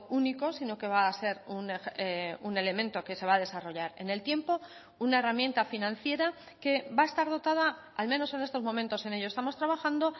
único sino que va a ser un elemento que se va a desarrollar en el tiempo una herramienta financiera que va a estar dotada al menos en estos momentos en ello estamos trabajando